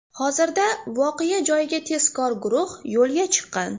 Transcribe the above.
Hozirda voqea joyiga tezkor guruh yo‘lga chiqqan.